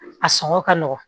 A sɔngɔ ka nɔgɔn